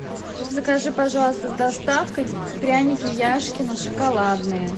закажи пожалуйста с доставкой пряники яшкино шоколадные